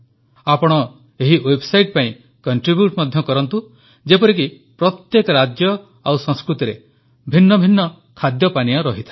ଆପଣ ଏହି ୱେବସାଇଟ୍ ପାଇଁ କଣ୍ଟ୍ରିବ୍ୟୁଟ ମଧ୍ୟ କରନ୍ତୁ ଯେପରିକି ପ୍ରତ୍ୟେକ ରାଜ୍ୟ ଓ ସଂସ୍କୃତିରେ ଭିନ୍ନ ଭିନ୍ନ ଖାଦ୍ୟପାନୀୟ ରହିଥାଏ